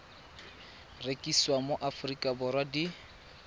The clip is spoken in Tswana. rekisiwa mo aforika borwa di